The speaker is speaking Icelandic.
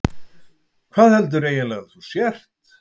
Hvað heldur þú eiginlega að þú sért?